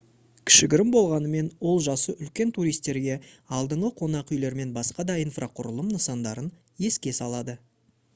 кішігірім болғанымен ол жасы үлкен туристерге алдыңғы қонақ үйлер мен басқа да инфрақұрылым нысандарын еске салады